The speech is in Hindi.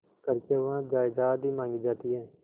करके वह जायदाद ही मॉँगी जाती है